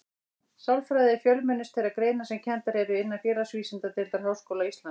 Sálfræði er fjölmennust þeirra greina sem kenndar eru innan Félagsvísindadeildar Háskóla Íslands.